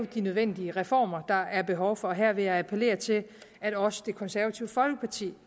de nødvendige reformer der er behov for her vil jeg appellere til at også det konservative folkeparti